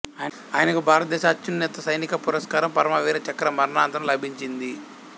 ఆయనకు భారతదేశ అత్యున్నత సైనిక పురస్కారం పరమ వీర చక్ర మరణానంతరం లభించింది